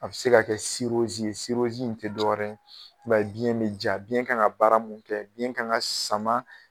A bɛ se ka kɛ ye in tɛ dɔwɛrɛ ye i b'a ye biyɛn bɛ ja biyɛn kan ka baara mun kɛ biyɛn kan ka sama